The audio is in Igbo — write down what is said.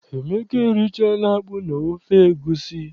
Emeka erichaghị akpụ na ofe egusi.